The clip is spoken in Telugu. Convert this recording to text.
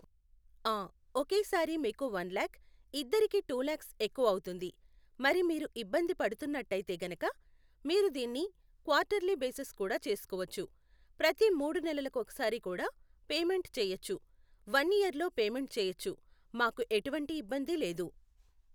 ఆ ఒకేసారి మీకు వన్ లాక్, ఇద్దరికి టూ లాక్స్ ఎక్కువవుతుంది, మరి మీరు ఇబ్బంది పడుతున్నట్టయితే గనుక మీరు దీని క్వాటర్లీ బేసిస్ కూడా చేసుకోవచ్చు ప్రతి మూడు నెలలకోసారి కూడా పేమెంట్ చేయచ్చు, వన్ ఇయర్ లో పేమెంట్ చేయచ్చు, మాకు ఎటువంటి ఇబ్బంది లేదు.